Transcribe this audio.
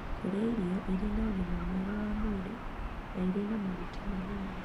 Kũrĩa irio irĩ na ũgima mwega wa mwĩrĩ na irĩ na maguta manini.